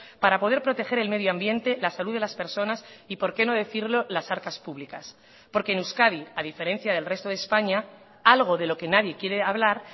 para poder proteger el medioambiente la salud de las personas y por qué no decirlo las arcas públicas porque en euskadi a diferencia del resto de españa algo de lo que nadie quiere hablar